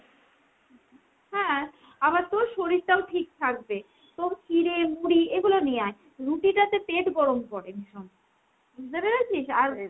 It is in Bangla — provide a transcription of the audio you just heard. হ্যাঁ আবার তোর শরীরটাও ঠিক থাকবে। তো চিড়ে, মুড়ি এগুলো নিয়ে আয়। রুটিটাতে পেট গরম করে ভীষণ। বুঝতে পেরেছিস? আর